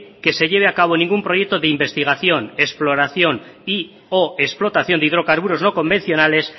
que se lleve a cabo ningún proyecto de investigación exploración y o explotación de hidrocarburos no convencionales